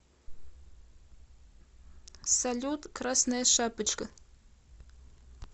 салют красная шапочка